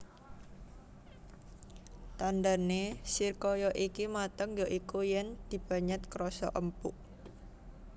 Tandhane srikaya iki mateng ya iku yen dipenyet krasa empuk